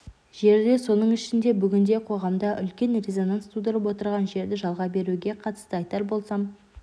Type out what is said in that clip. жерде соның ішінде бүгінде қоғамда үлкен резонанс тудырып отырған жерді жалға беруге қатысты айтар болсам